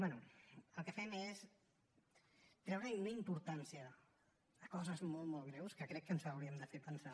bé el que fem és treure una importància a coses molt molt greus que crec que ens haurien de fer pensar